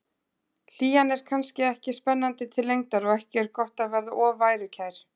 Hlýjan er kannski ekki spennandi til lengdar og ekki er gott að verða of værukær.